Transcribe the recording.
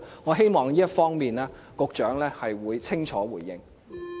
我希望局長會清楚回應有關問題。